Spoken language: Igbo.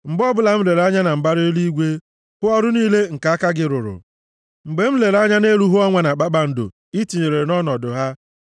Mgbe ọbụla m lere anya na mbara eluigwe, hụ ọrụ niile nke aka gị rụrụ, mgbe m lere anya nʼelu hụ ọnwa na kpakpando i tinyere nʼọnọdụ ha,